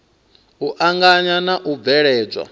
u anganya na u bveledzwa